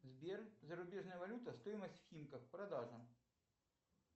сбер зарубежная валюта стоимость в химках продажа